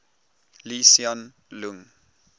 lee hsien loong